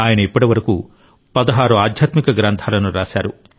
ఆయన ఇప్పటివరకు 16 ఆధ్యాత్మిక గ్రంథాలను రాశారు